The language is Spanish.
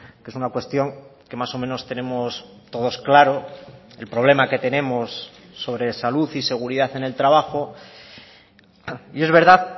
que es una cuestión que más o menos tenemos todos claro el problema que tenemos sobre salud y seguridad en el trabajo y es verdad